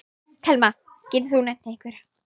Telma: Getur þú nefnt einhverja?